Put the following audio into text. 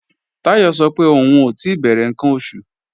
Táyọ̀ sọ pé òun ò tí bẹ̀rẹ̀ ǹkan oṣù